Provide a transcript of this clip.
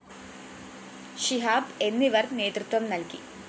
ഷിഹാബ് എന്നിവര്‍ നേതൃത്വം നല്‍കി